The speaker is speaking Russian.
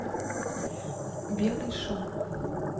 белый шум